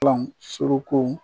suruku